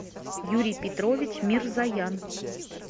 юрий петрович мирзоян